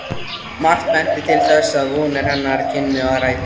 Margt benti til þess, að vonir hennar kynnu að rætast.